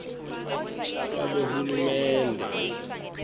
lwabohulumende